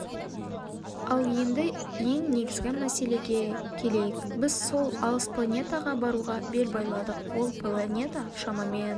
ал енді ең негізгі мәселеге келейік біз сол алыс планетаға баруға бел байладық ол планета шамамен